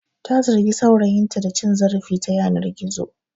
Ta zargi saurayinta da cin zarafi ta yanar gizo.